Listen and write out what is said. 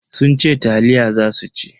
Sun ce taliya za su ci.